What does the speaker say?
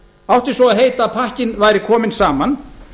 átti svo að heita að pakkinn væri kominn saman